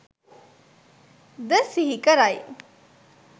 ද සිහි කරයි.